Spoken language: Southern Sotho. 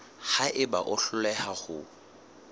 ha eba o hloleha ho